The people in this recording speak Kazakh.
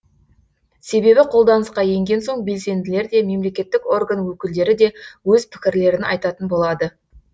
себебі қолданысқа енген соң белсенділер де мемлекеттік орган өкілдері де өз пікірлерін айтатын болады